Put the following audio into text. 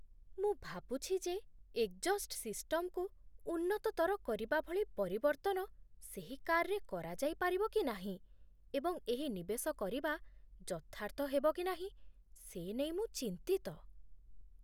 ମୁଁ ଭାବୁଛି ଯେ ଏଗ୍‌ଜ୍‌ହ‌ଷ୍ଟ୍ ସିଷ୍ଟମ୍‌କୁ ଉନ୍ନତତର କରିବା ଭଳି ପରିବର୍ତ୍ତନ ସେହି କାର୍ରେ କରାଯାଇପାରିବ କି ନାହିଁ, ଏବଂ ଏହି ନିବେଶ କରିବା ଯଥାର୍ଥ ହେବ କି ନାହିଁ ସେ ନେଇ ମୁଁ ଚିନ୍ତିତ।